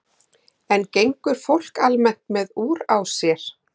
En gengur fólk almennt með úr á sér?